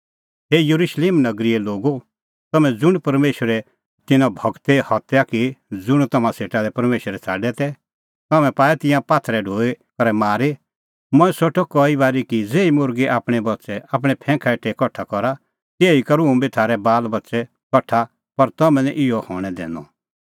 हे Jerusalem नगरीए लोगो तम्हैं ज़ुंण परमेशरे तिन्नां गूरे हत्या की ज़ुंण तम्हां सेटा लै परमेशरै छ़ाडै तै तम्हैं पाऐ तिंयां पात्थरे ढो दैई करै मारी मंऐं सोठअ कई बारी कि ज़ेही मुर्गी आपणैं बच्च़ै आपणैं फैंखा हेठै कठा करा तिहै ई करूं हुंबी थारै बालबच्च़ै बी कठा पर तम्हैं निं इहअ हणैं दैनअ